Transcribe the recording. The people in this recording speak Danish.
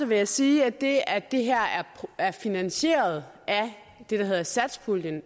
vil jeg sige at det at det her er finansieret af det der hedder satspuljen